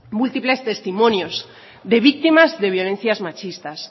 múltiples testimonios de víctimas de violencias machistas